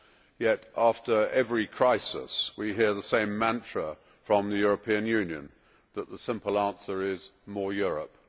Yet after every crisis, we hear the same mantra from the European Union that the simple answer is more Europe.